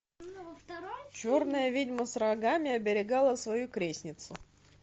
черная ведьма с рогами оберегала свою крестницу